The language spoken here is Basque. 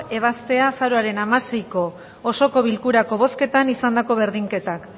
ebaztea azaroaren hamaseiko osoko bilkurako bozketan izandako berdinketak